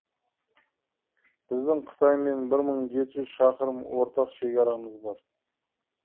біздің қытаймен бір мың жеті жүз шақырым ортақ шекарамыз бар